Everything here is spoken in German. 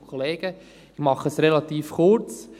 Ich mache es relativ kurz.